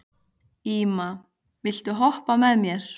Íma, viltu hoppa með mér?